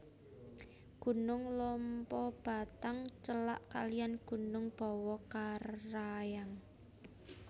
Gunung Lompobattang celak kaliyan Gunung Bawakaraeng